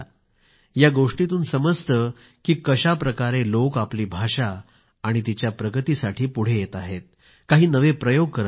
ह्या गोष्टीतून समजते की कशा प्रकारे लोक आपली भाषा आणि तिच्या प्रगतीसाठी पुढे येत आहेत काही नवे प्रयोग करत आहेत